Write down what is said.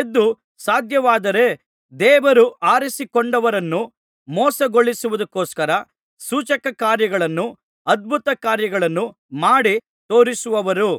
ಎದ್ದು ಸಾಧ್ಯವಾದರೆ ದೇವರು ಆರಿಸಿಕೊಂಡವರನ್ನು ಮೋಸಗೊಳಿಸುವುದಕ್ಕೋಸ್ಕರ ಸೂಚಕಕಾರ್ಯಗಳನ್ನೂ ಅದ್ಭುತಕಾರ್ಯಗಳನ್ನೂ ಮಾಡಿ ತೋರಿಸುವರು